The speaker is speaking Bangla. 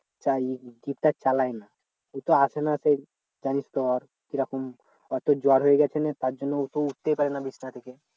চাই জিপ টা চালাই না অতো আসে না সেই জানিস তো ওর কিরকম জর হয়ে গেছে না তার জন্য ওতো উঠতেই পারে না বিছনা থেকে